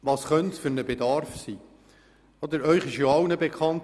Was für einen Bedarf könnte es nun geben?